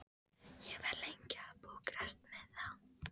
Ég var lengi að pukrast með þá.